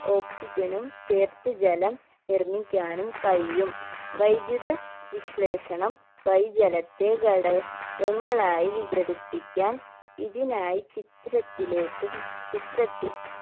oxygen ഉം ചേർത്ത് ജലം നിർമിക്കാനും കഴിയും വൈദ്യുത വിശ്ലേഷണം വഴി ജലത്തെ ഘട കങ്ങളായി വികടിപ്പിക്കാൻ ഇതിനായി ചിത്രത്തിലേക്കും ചിത്രത്തിൽ